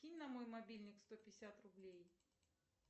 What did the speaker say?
кинь на мой мобильник сто пятьдесят рублей